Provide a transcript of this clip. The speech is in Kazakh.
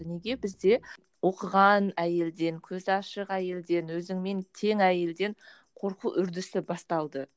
неге бізде оқыған әйелден көзі ашық әйелден өзіңмен тең әйелден қорқу үрдісі басталды